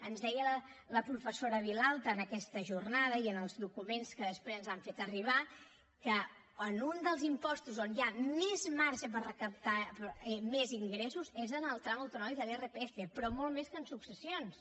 ens deia la professora vilalta en aquesta jornada i en els documents que després ens han fet arribar que en un dels impostos on hi ha més marge per recaptar més ingressos és en el tram autonòmic de l’irpf però molt més que en successions